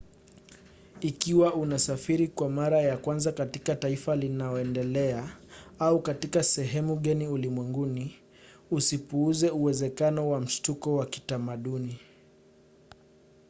ikiwa unasafiri kwa mara ya kwanza katika taifa linaoendelea – au katika sehemu geni ulimwenguni – usipuuze uwezekano wa mshtuko wa kitamaduni